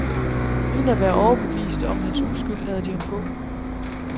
Uden at være overbevist om hans uskyld lader de ham gå.